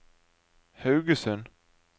Haugesund